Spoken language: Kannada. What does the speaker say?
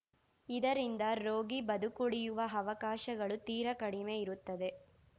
ಇದರಿಂದ ರೋಗಿ ಬದುಕುಳಿಯುವ ಅವಕಾಶಗಳು ತೀರಾ ಕಡಿಮೆ ಇರುತ್ತದೆ